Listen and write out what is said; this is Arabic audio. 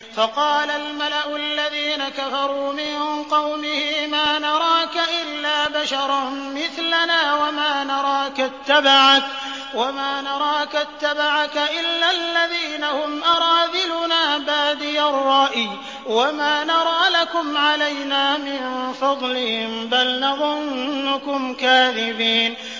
فَقَالَ الْمَلَأُ الَّذِينَ كَفَرُوا مِن قَوْمِهِ مَا نَرَاكَ إِلَّا بَشَرًا مِّثْلَنَا وَمَا نَرَاكَ اتَّبَعَكَ إِلَّا الَّذِينَ هُمْ أَرَاذِلُنَا بَادِيَ الرَّأْيِ وَمَا نَرَىٰ لَكُمْ عَلَيْنَا مِن فَضْلٍ بَلْ نَظُنُّكُمْ كَاذِبِينَ